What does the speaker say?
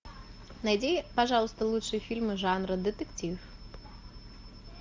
найди пожалуйста лучшие фильмы жанра детектив